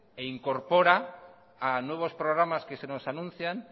e incorpora a nuevos programas que se nos anuncian